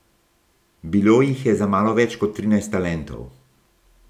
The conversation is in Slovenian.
Bilo jih je za malo več kot trinajst talentov.